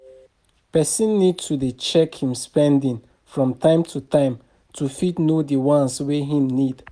Person need to dey check im spending from time to time to fit know di ones wey im need